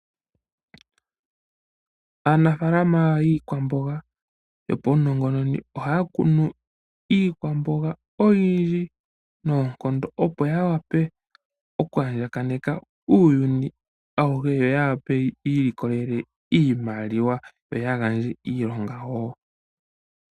Aanafalama yiikwamboga yopaunongononi ohaya kunu iikwamboga oyindji opo yawape okwaandjakaneka uuyuni awuhe yo yi ilikolele iimaliwa noya gandje iilonga woo.